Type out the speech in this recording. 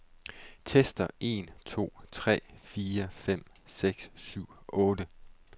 Tester en to tre fire fem seks syv otte.